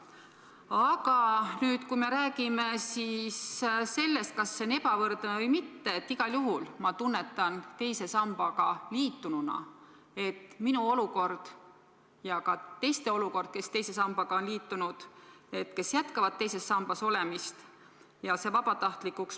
Aga kui me räägime sellest, kas tegu on ebavõrdsusega või mitte – igal juhul ma tunnetan teise sambaga liitununa, et minu olukord ja ka teiste olukord, kes teise sambaga on liitunud ja jätkavad teises sambas olemist, halveneb.